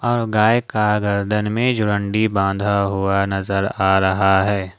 और गाय का गर्दन में जोरंडी बांधा हुआ नजर आ रहा है।